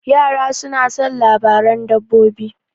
Yara soma son labaran dabbobi.